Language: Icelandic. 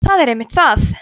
það er einmitt það